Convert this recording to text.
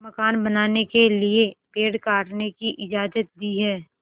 मकान बनाने के लिए पेड़ काटने की इजाज़त दी है